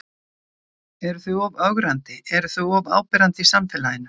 Eru þau of ögrandi, eru þau of áberandi í samfélaginu?